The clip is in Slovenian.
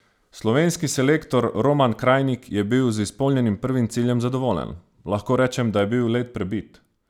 Slovenski selektor Roman Krajnik je bil z izpolnjenim prvim ciljem zadovoljen: "Lahko rečem, da je bil led prebit.